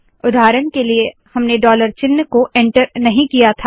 उदाहरण के लिए हमने डॉलर चिन्ह को एन्टर नहीं किया था